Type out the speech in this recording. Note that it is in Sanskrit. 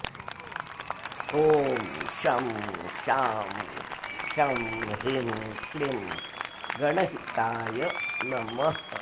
ॐ शं शां षं ह्रीं क्लीं गणहिताय नमः